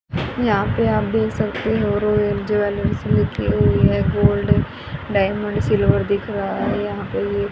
यहां पे आप देख सकते हो रोयाल ज्वेलर्स लिखी हुई है गोल्ड डायमंड सिल्वर दिख रहा है यहां पे ये--